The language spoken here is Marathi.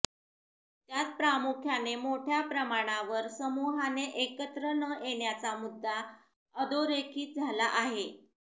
त्यात प्रामुख्याने मोठ्या प्रमाणावर समूहाने एकत्र न येण्याचा मुद्दा अधोरेखित झाला आहे